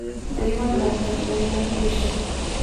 Vplivajmo, tekmujmo, iščimo ...